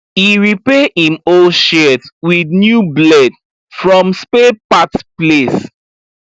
e repair him old shears with new blade from spare part place